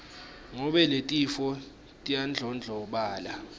ngobe letifo tiyandlondlobala